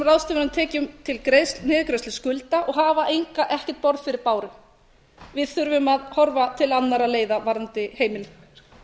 ráðstöfunartekjum til niðurgreiðslu skulda og hafa ekkert borð fyrir báru við þurfum að horfa til annarra leiða varðandi heimilin